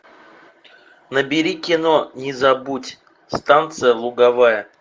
набери кино не забудь станция луговая